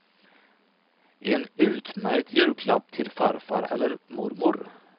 En utmärkt julklapp till farfar eller mormor.